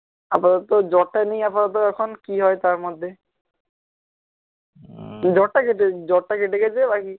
আপাতত জ্বরটা নেই আপাতত এখন কি হয় তারমধ্যে জ্বরটা কেটে জ্বরটা কেটে গেছে ওই